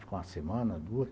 Fica uma semana, duas.